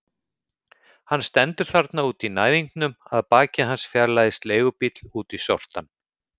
Hann stendur þarna úti í næðingnum, að baki hans fjarlægist leigubíll út í sortann.